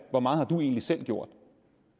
hvor meget man egentlig selv har gjort